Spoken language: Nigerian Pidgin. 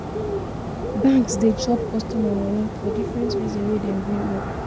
Banks de chop customers money for different reason wey dem bring up